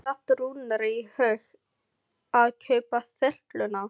Hvernig datt Rúnari í hug að kaupa þyrluna?